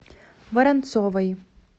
воронцовой